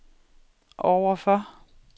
overfor